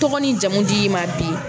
Tɔgɔ ni jamu di i ma bi